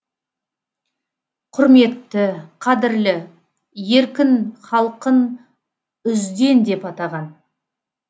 құрметті қадірлі еркін халқын үзден деп атаған